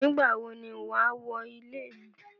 Nígbà wón ní wà wọ ilẹ̀ mi?